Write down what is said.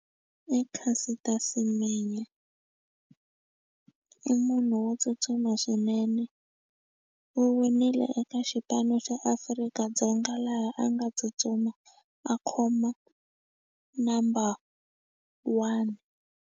I Caster Semenya i munhu wo tsutsuma swinene u winile eka xipano xa Afrika-Dzonga laha a nga tsutsuma a khoma number one.